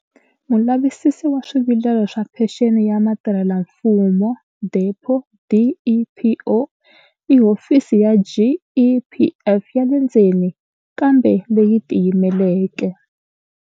Mulavisisi wa swivilelo wa Phenxeni ya Vatirhelamfumo, DEPO, i hofisi ya GEPF ya le ndzeni kambe leyi tiyimeleke.